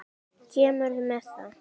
Kemurðu með það!